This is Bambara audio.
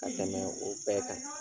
Ka tɛmɛ o bɛɛ kan